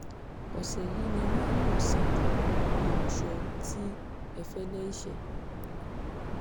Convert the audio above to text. ọ̀sẹ̀ yìí ni wọn yóò sìnkú olùṣọ́ tí ẹfẹ̀lẹ́iṣẹ́